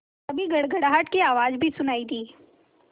तभी गड़गड़ाहट की आवाज़ भी सुनाई दी